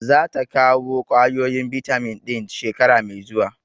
Za ta kawo ƙwayoyin bitamin ɗin shekara mai zuwa.